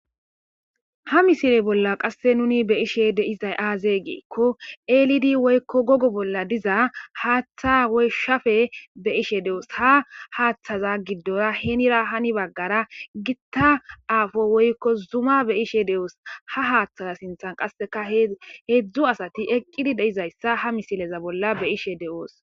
Hamosile bolla qasse nunibe7ishe de7izay aaze giikko eelidi woykko gogo bolla diza haaththa woyshshafe be7ishe doos.hahaataza giddora henira hani baggara gita aafo woylko zuma beyishe de7oos. ha haatha sinthan qassika heedzdzu asati eqqidi dizayssa ha misileza bollan be7on doos.